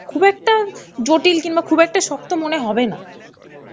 খুব একটা জটিল কিংবা খুব একটা শক্ত মনে হবে না.